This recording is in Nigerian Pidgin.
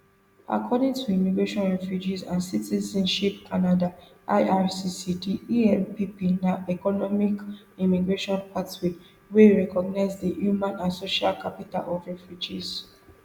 according to immigration refugees and citizenship canada ircc di empp na economic immigration pathway wey recognise di human and social capital of refugees